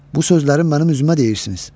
Bu sözləri mənim üzümə deyirsiniz.